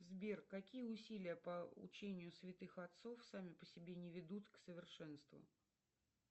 сбер какие усилия по учению святых отцов сами по себе не ведут к совершенству